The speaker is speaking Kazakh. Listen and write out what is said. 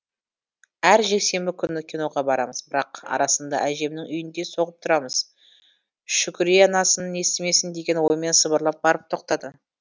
әр жексенбі күні киноға барамыз бірақ арасында әжемнің үйіне де соғып тұрамыз шүкүрие анасын естімесін деген оймен сыбырлап барып тоқтады